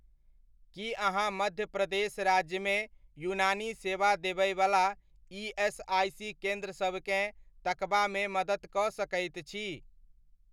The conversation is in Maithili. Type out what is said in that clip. की अहाँ मध्य प्रदेश राज्यमे यूनानी सेवा देबयवला ईएसआइसी केन्द्रसबकेँ तकबामे मदति कऽ सकैत छी?